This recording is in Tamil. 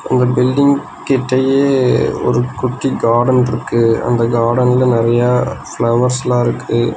இந்த பில்டிங் கிட்டயே ஒரு குட்டி காடன்ட்ருக்கு அந்த காடன்ல நறைய ஃபிளவர்ஸ்லா இருக்கு.